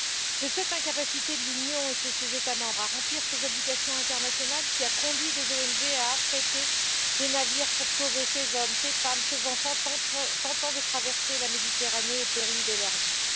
C'est cette incapacité de l'Union et de ses États membres à remplir leurs obligations internationales qui a conduit des ONG à affréter des navires pour sauver ces hommes, ces femmes, ces enfants tentant de traverser la Méditerranée au péril de leur vie.